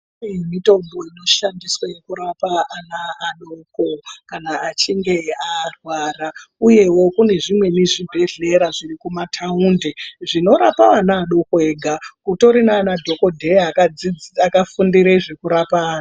Kune mitombo inoshandiswe kurapa ana adoko kana achinge arwara uyewo kune zvimweni zvibhehlera zvirikumataundi zvinorapa ana adoko ega. Kutori naana dhokodheya akafundire zvekurapa ana.